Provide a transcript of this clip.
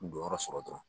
N jɔyɔrɔ sɔrɔ dɔrɔn